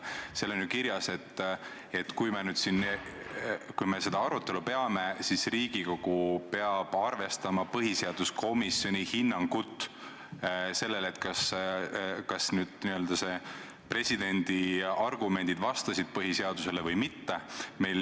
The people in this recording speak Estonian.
Seal on ju kirjas, et kui me seda arutelu peame, siis tuleb Riigikogul arvestada põhiseaduskomisjoni hinnangut sellele, kas presidendi argumendid vastavad põhiseadusele või mitte.